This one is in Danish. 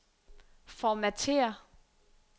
formatér